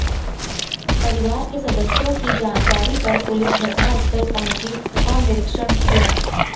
परिवार के सदस्यों की जानकारी पर पुलिस घटनास्थल पहुंची और निरीक्षण किया